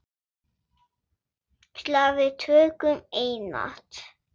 Slag við tökum einatt öll.